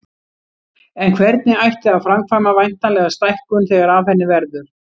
En hvernig ætti að framkvæma væntanlega stækkun þegar af henni verður.